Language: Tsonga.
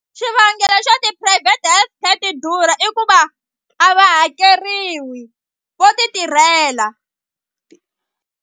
Xivangelo xo ti-private health care ti durha i ku va a va hakeriwi vo ti tirhela.